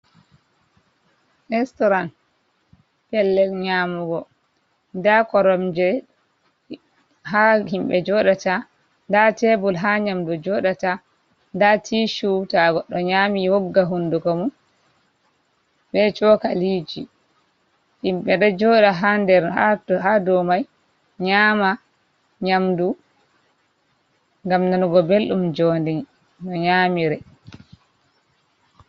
Restorant pellel nyamugo, nda koromje ha himɓe joɗata, nda tebul ha nyamdu joɗata, nda ti shew to goɗɗo nyami wogga hunduko mu, be coka liji, himɓe ɗo joɗa ha der ha dow mai nyama nyamdu gam nanugo belɗum jondi no nyamire.